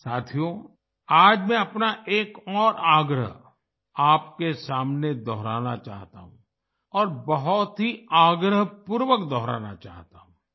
साथियो आज मैं अपना एक और आग्रह आपके सामने दोहराना चाहता हूँ और बहुत ही आग्रहपूर्वक दोहराना चाहता हूँ